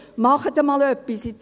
Machen Sie einmal etwas!